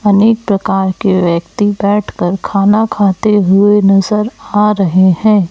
अनेक प्रकार के व्यक्ति बैठकर खाना खाते हुए नजर आ रहे हैं।